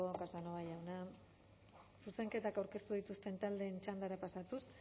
casanova jauna zuzenketak aurkeztu dituzten taldeen txandara pasatuz